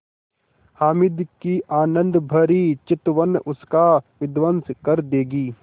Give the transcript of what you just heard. हामिद की आनंदभरी चितवन उसका विध्वंस कर देगी